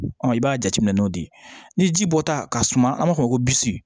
i b'a jateminɛ n'o de ye ni ji bɔta ka suma an b'a fɔ ko bisi